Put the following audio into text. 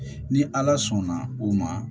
Ni ala sɔnna o ma